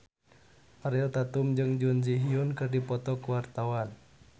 Ariel Tatum jeung Jun Ji Hyun keur dipoto ku wartawan